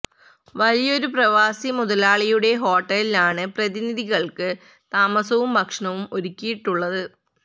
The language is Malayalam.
വലിയൊരു പ്രവാസി മുതലാളിയുടെ ഹോട്ടലിലാണ് പ്രതിനിധി കൾക്ക് താമസവും ഭക്ഷണവും ഒരുക്കിയിട്ടുള്ളത്